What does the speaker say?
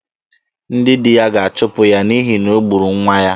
Ndị di ya ga-achụpụ ya n'ihi na o gburu nwa ya.